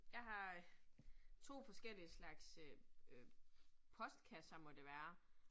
Jeg har 2 forskellige slags øh øh postkasser må det være